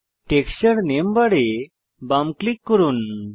texture নামে বারে বাম ক্লিক করুন